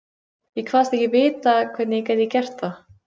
Ég kvaðst ekki vita, hvernig ég gæti gert það.